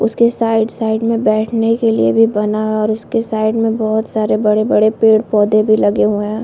उसके side side में बैठने के लिए भी बना है और उसके साइड में बहोत सारे पेड़ पौधे भी लगे हुए है।